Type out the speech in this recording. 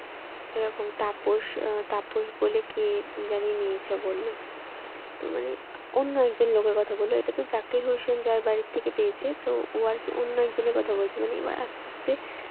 এরকম তাপস তাপস বলে কে জানে নিয়েছে বলল তো মানে অন্য একজন লোকের কথা বলল এটা তো জাকির হোসেন যার বাড়ি থেকে পেয়েছে তো ও আর কি অন্য একজনের কথা বলছে এবার আস্তে আস্তে